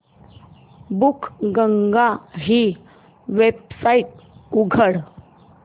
बुकगंगा ही वेबसाइट उघड